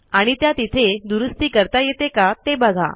आणि त्या तिथे दुरूस्ती करता येते का ते बघा